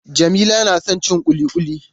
Jamila na son cin ƙuliƙuli.